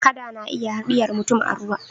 kada na iya hadiyarvmurum a ruwa